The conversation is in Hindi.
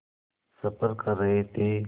सफ़र कर रहे थे